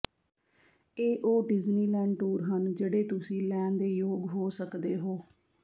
ਇਹ ਉਹ Disneyland tour ਹਨ ਜਿਹੜੇ ਤੁਸੀਂ ਲੈਣ ਦੇ ਯੋਗ ਹੋ ਸਕਦੇ ਹੋ